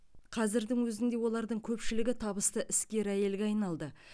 қазірдің өзінде олардың көпшілігі табысты іскер әйелге айналды